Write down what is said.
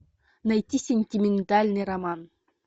найти сентиментальный роман